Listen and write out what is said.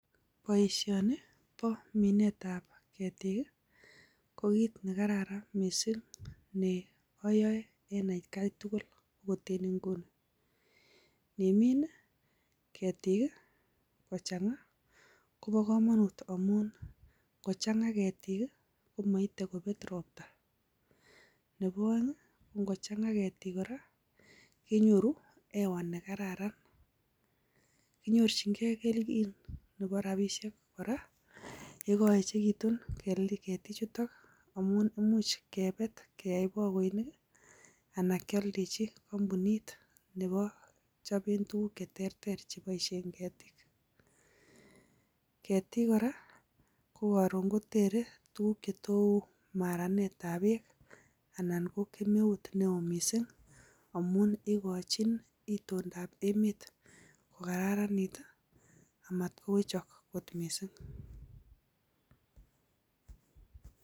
Boishoni bo minetab keetik ko kit nekararan missing, neoyoe en etkai tugul. Inimin i keetik I kochangaa koboo komonut amun ingochang komoite kobeet roptaa. Nebo oeng kokochangaa keetik kenyoru hewa nekararran. Kinyorchingei kelchin nebo rabisiek kora yekoyechekitun keetichutok amun imuch kebeet am keyai bokoinik. Anan kioldechi kompunit nekichoben tuguuk che teeter koyoob keetik. Keetik kora kokoron kotere tuguuk chetou maranet ab beek, anan ko kemeut newo missing amun ikochin itondab emet kokararanit amat kowechok kot missing